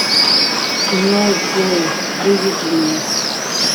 кино изгои выведи мне